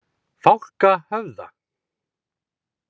Fálkahöfða